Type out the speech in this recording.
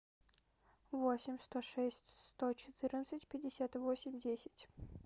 восемь сто шесть сто четырнадцать пятьдесят восемь десять